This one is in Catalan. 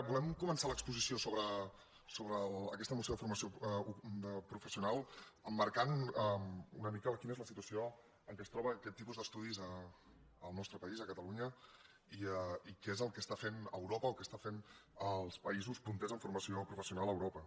volem començar l’exposició sobre aquesta moció de formació professional emmarcant una mica quina és la situació en què es troben aquest tipus d’estudis en el nostre país a catalunya i què és el que està fent eu·ropa el que estan fent els països punters en formació professional a europa